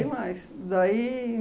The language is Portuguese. mais. Daí